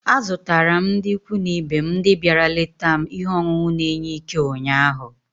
Azụtara m ndị ikwu na ibe m ndị bịara leta m ihe ọṅụṅụ na-enye Ike ụnyaahụ.